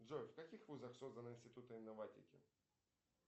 джой в каких вузах созданы институты инноватики